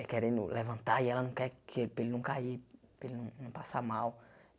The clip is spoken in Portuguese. é querendo levantar e ela não quer que para ele não cair, para ele não não passar mal.